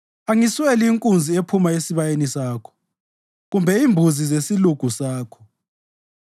Angisweli inkunzi ephuma esibayeni sakho kumbe imbuzi zesilugu sakho,